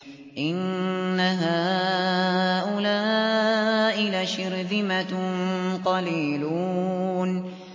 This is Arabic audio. إِنَّ هَٰؤُلَاءِ لَشِرْذِمَةٌ قَلِيلُونَ